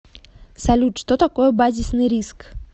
салют что такое базисный риск